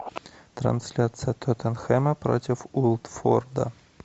трансляция тоттенхэма против уотфорда